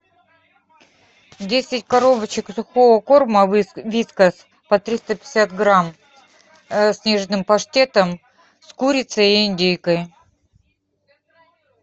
десять коробочек сухого корма вискас по триста пятьдесят грамм с нежным паштетом с курицей и индейкой